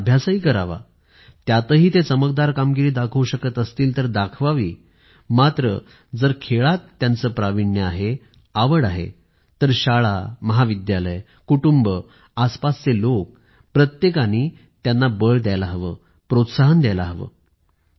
त्यांनी अभ्यासही करावा त्यातही ते चमकदार कामगिरी दाखवू शकत असतील तर दाखवावी मात्र जर खेळात त्याचे प्राविण्य आहे आवड आहे तर शाळा महाविद्यालय कुटुंब आसपासचे लोक प्रत्येकानी त्याला बळ द्यायला हवं प्रोत्साहन द्यायला हवं